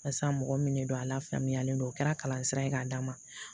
Barisa mɔgɔ min de don a la faamuyalen don o kɛra kalan sira ye k'a d'a ma